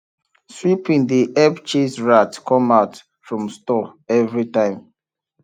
sweeping dey help chase rat come out from store every time